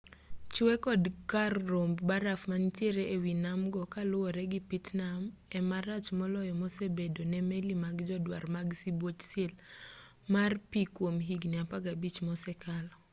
chwe kod kar romb baraf manitiere e wi nam go kaluwore gi pittman e marach moloyo mosebedo ne meli mag jodwar mag sibuoch sil mar pi kuom higni 15 mosekalo